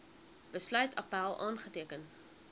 besluit appèl aanteken